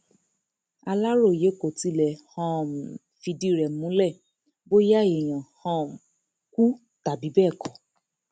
aláròye kò tí ì lè um fìdí rẹ múlẹ bóyá èèyàn um kú tàbí bẹẹ kọ